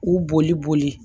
K'u boli boli